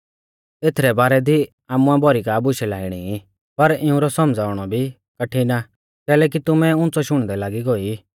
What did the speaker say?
एथरै बारै दी आमुऐ भौरी का बुशै लाइणी ई पर इउंरौ सौमझ़ाउणौ भी कठिण आ कैलैकि तुमै उंच़ौ शुणदै लागी गौऐ ई